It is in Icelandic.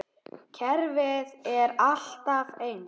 Kerfið er alltaf eins.